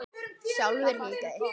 Sjálfur hikaði